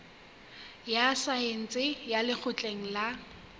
ya saense ya lekgotleng la